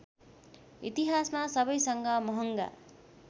इतिहासमा सबैसँग महङ्गा